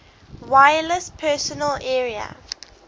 wireless personal area